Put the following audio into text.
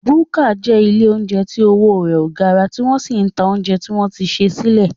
Búkà jẹ́ ilé óúnjẹ tí owó rẹ ò gara tí wọ́n sì ń ta óúnjẹ tí wọ́n ti sè sílẹ̀